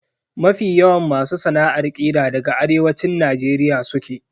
Mafi yawan masu sana'ar ƙira daga Arewacin Najeriya suke.